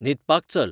न्हिदपाक चल